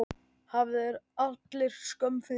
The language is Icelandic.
Hafi þeir allir skömm fyrir!